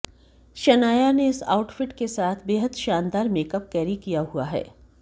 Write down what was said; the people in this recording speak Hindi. शनाया ने इस आउटफिट के साथ बेहद शानदार मेकअप कैरी किया हुआ है